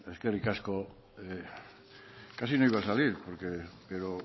eskerrik asko casi no iba a salir pero